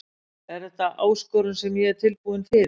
En þetta er áskorun sem ég er tilbúin fyrir.